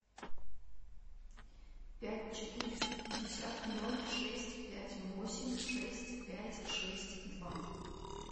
пять четыреста пятьдесят ноль шесть пять восемь шесть пять шесть два